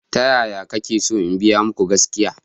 Ta yaya kake so in biya muku gaskiya?